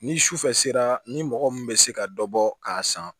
Ni sufɛ sera ni mɔgɔ min bɛ se ka dɔ bɔ k'a san